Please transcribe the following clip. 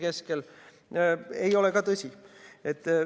See ei ole ka tõsi.